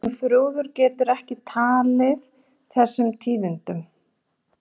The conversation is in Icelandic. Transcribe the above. Hún Þuríður gat ekki tekið þessum tíðindum.